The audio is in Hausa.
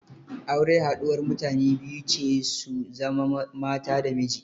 Aure haɗuwar mutane biyu ce su zama mata da miji.